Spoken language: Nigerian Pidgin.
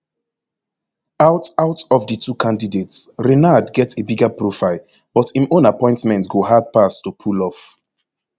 out out of di two candidates renard get a bigger profile but im own appointment go hard pass to pull off